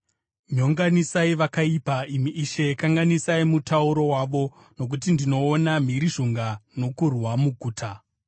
Nyonganisai vakaipa, imi Ishe, kanganisai mutauro wavo, nokuti ndinoona mhirizhonga nokurwa muguta.